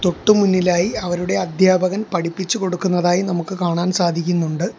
തൊട്ട് മുന്നിലായി അവരുടെ അധ്യാപകൻ പഠിപ്പിച്ചു കൊടുക്കുന്നതായി നമുക്ക് കാണാൻ സാധിക്കുന്നുണ്ട്.